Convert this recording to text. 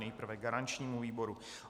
Nejprve garančnímu výboru.